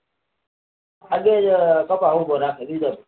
આજ બે કપા ઉભો રાખે લીલો